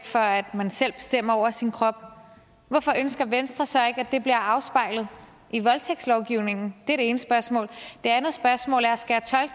for at man selv bestemmer over sin krop hvorfor ønsker venstre så ikke at det bliver afspejlet i voldtægtslovgivningen det er det ene spørgsmål det andet spørgsmål er skal